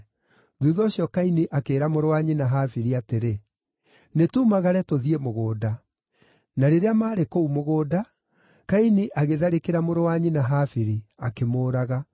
Thuutha ũcio Kaini akĩĩra mũrũ wa nyina Habili atĩrĩ, “Nĩtumagare tũthiĩ mũgũnda.” Na rĩrĩa maarĩ kũu mũgũnda, Kaini agĩtharĩkĩra mũrũ wa nyina Habili, akĩmũũraga.